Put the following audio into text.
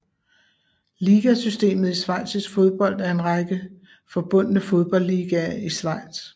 Ligasystemet i schweizisk fodbold er en række forbundne fodboldligaer i Schweiz